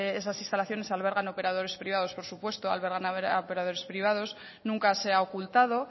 esas instalaciones albergan operadores privados por supuesto albergan a operadores privados nunca se ha ocultado